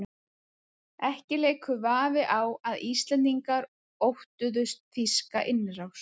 Ekki leikur vafi á að Íslendingar óttuðust þýska innrás.